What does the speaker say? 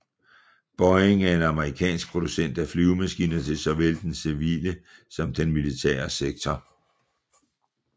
Boeing er en amerikansk producent af flyvemaskiner til såvel den civile som den militære sektor